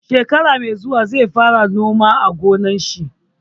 Shekara mai zuwa zai fara noma a gonar shi.